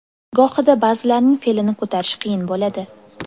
Gohida ba’zilarining fe’lini ko‘tarish qiyin bo‘ladi.